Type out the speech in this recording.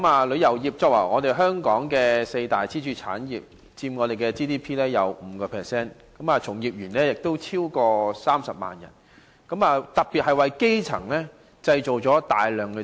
旅遊業是香港四大支柱產業，佔本港 GDP 的 5%， 從業員超過30萬人，當中很多是基層職位。